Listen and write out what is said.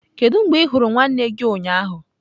Kedu mgbe ị hụrụ nwanne gị ụnyaahụ?